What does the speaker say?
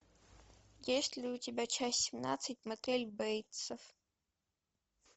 есть ли у тебя часть семнадцать мотель бейтсов